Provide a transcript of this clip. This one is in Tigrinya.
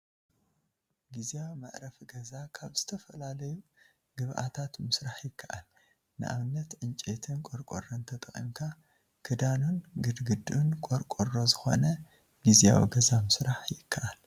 ግዚያዊ መዕረፊ ገዛ ካብ ዝተፈላለዩ ግብኣታት ምስራሕ ይከኣል፡፡ ንኣብነት ዕንጨይትን ቆርቆሮን ተጠቒምካ ክዳኑን ግድግድኡን ቆርቆሮ ዝገነ ግዚያዊ ገዛ ምስራሕ ይከኣል፡፡